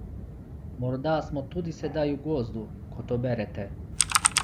Morda smo tudi sedaj v gozdu, ko to berete!